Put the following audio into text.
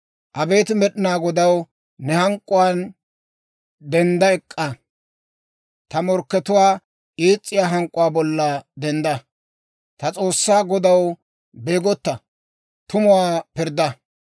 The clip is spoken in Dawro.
Abeet Med'inaa Godaw, ne hank'k'uwaan dendda ek'k'a; ta morkkatuwaa ees's'iyaa hank'k'uwaa bolla dendda. Ta S'oossaw Godaw, beegotta; tumuwaa pirdda.